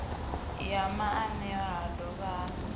ya maanea ha dovha ha